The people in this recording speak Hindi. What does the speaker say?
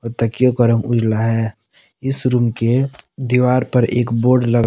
तकियों का रंग उजाला है। इस रूम के दीवार पर एक बोर्ड ल--